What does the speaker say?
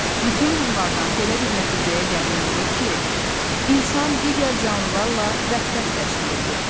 Bütün bunlardan belə bir nəticəyə gəlmək olur ki, insan digər canlılarla vəhdət təşkil edir.